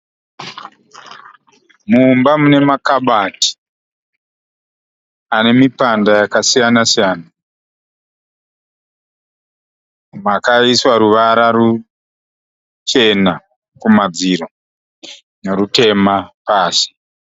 Mumba mune makabati ane mipanda yakasiyana siyana, makaiswa ruvara ruchena kumadziro nerutema pasi.